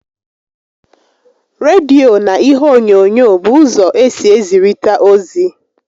Rediyo na ihe onyonyo bụ ụzọ esi ezirita ozi